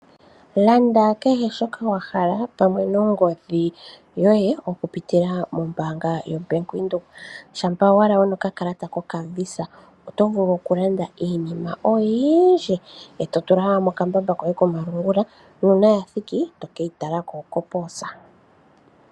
Landa kehe shoka wa hala pamwe no ngodhi yoye oku pitila mombaanga yaVenduka. Shampa owala wuna oka kalata koka VISA, oto vulu oku landa iinima oyindji e to tula mo kambamba koye komalungula. Nuuna ya thiki to keyi tala ko ko poosa.